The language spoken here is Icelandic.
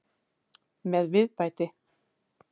Með viðbæti.